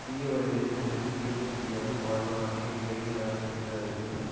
தீய வழிகளில் பிறர்க்கு தீமை செய்யாது வாழ்பவனே கேடு இல்லாதவன் என்று அறிக